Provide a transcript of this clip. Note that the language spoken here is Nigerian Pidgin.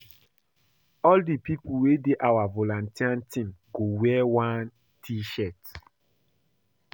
All di pipo wey dey our volunteer team go wear one t-shirt.